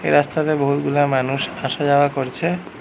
রাস্তাতে বহুতগুলা মানুষ আসা যাওয়া করছে।